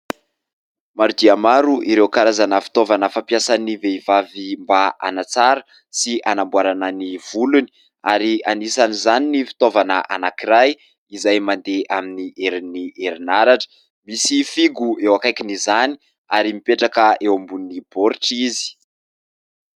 Maro dia maro ireo karazana fitaovana fampiasan'ny vehivavy mba hanatsarana sy hanamboarana ny volony ary anisan' izany ny fitaovana anankiray izay mandeha amin'ny herin'ny erinaratra, misy fihogo eo akaikin'izany ary mipetraka eo ambony boritra izy.